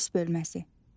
Polis bölməsi.